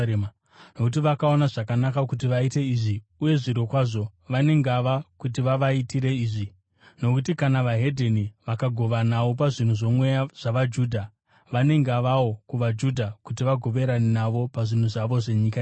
Nokuti vakaona zvakanaka kuti vaite izvi, uye zvirokwazvo vane ngava kuti vavaitire izvi. Nokuti kana veDzimwe Ndudzi vakagovanawo pazvinhu zvoMweya zvavaJudha, vane ngavawo kuvaJudha kuti vagoverane navo pazvinhu zvavo zvenyika ino.